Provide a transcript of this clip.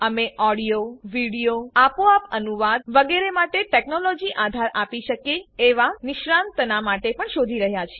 અમે audio video આપોઆપ અનુવાદ વગેરે માટે ટેકનોલોજી આધાર આપી શકે એવા નિષ્ણાતના માટે પણ શોધી રહ્યા છીએ